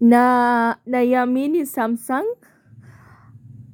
Na naiamini samsung